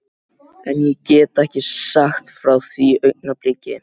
En ég get ekki sagt frá því augnabliki.